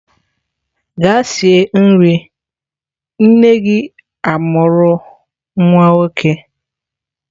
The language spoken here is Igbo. Gaa sie nri! nne-gi amuru nwa-nwoke.